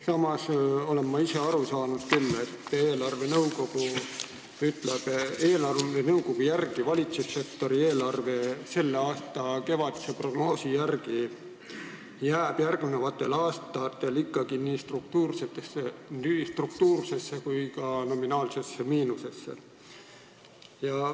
Samas olen ma aru saanud, et eelarvenõukogu arvamusel jääb valitsussektori eelarve selle aasta kevadise prognoosi järgi järgnevatel aastatel ikkagi nii struktuursesse kui ka nominaalsesse miinusesse.